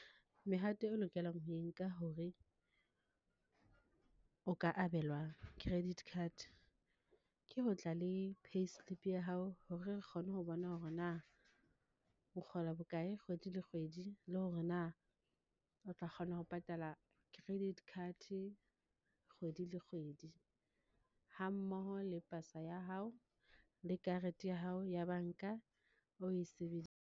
Mehato eo o lokelang ho e nka hore o ka abelwa credit card. Ke ho tla le payslip ya hao hore re kgone ho bona hore na o kgola bokae kgwedi le kgwedi, le hore na o tla kgona ho patala credit card kgwedi le kgwedi? Ha mmoho le pasa ya hao, le karete ya hao ya banka o e sebedisang.